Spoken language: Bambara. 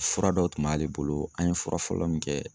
Fura dɔw tun b'ale bolo an ye fura fɔlɔ min kɛ